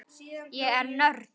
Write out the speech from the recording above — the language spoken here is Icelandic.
Ég er nörd.